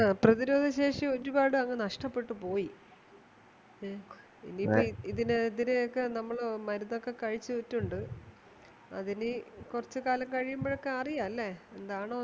ആഹ് പ്രതിരോധ ശേഷി ഒരുപാടങ്ങ് നഷ്ടപ്പെട്ടുപോയി ഇനി ഇപ്പൊ ഇതിനെ ഇതിനു ഒക്കെ നമ്മള് മരുന്നൊക്കെ കഴിച്ചിട്ടുണ്ട് അതിനി കുറച്ചുകാലം കഴിയുമ്പോഴൊക്കെ അറിയാം ല്ലേ എന്താണെന്ന്